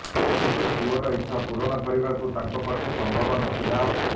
କିନ୍ତୁ ପୁଅର ଇଚ୍ଛା ପୂରଣ କରିବାକୁ ତାଙ୍କ ପକ୍ଷେ ସମ୍ଭବ ନଥିଲା